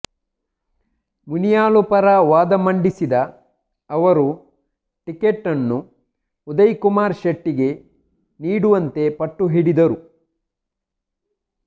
ಮುನಿಯಾಲು ಪರ ವಾದ ಮಂಡಿಸಿದ ಅವರು ಟಿಕೆಟ್ನ್ನು ಉದಯ ಕುಮಾರ್ ಶೆಟ್ಟಿಗೆ ನೀಡುವಂತೆ ಪಟ್ಟು ಹಿಡಿದರು